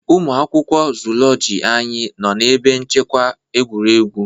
Ụmụ akwụkwọ Zoology anyị nọ na ebe nchekwa egwuregwu